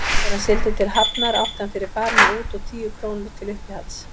Þegar hann sigldi til Hafnar átti hann fyrir farinu út og tíu krónur til uppihalds.